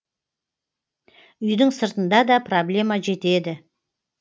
үйдің сыртында да проблема жетеді